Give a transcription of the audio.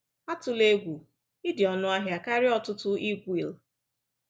Atụla egwu, ị dị ọnụahịa karịa ọtụtụ egwele.